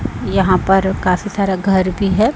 यहां पर काफी सारा घर भी है।